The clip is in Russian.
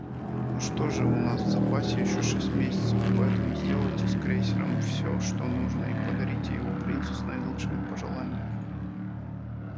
ну что же у нас в запасе ещё шесть месяцев поэтому сделайте с крейсером все что нужно и подарите его принцу с наилучшими пожеланиями